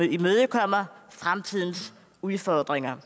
imødekommer fremtidens udfordringer